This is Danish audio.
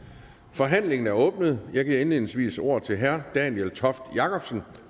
forhandlingen er åbnet jeg giver indledningsvis ordet til herre daniel toft jakobsen